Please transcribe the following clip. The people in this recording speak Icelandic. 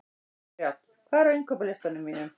Brjánn, hvað er á innkaupalistanum mínum?